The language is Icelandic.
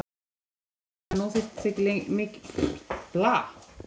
Og sagt henni að nú þyrftu þau ekki miklu lengur að hafa áhyggjur af leigunni.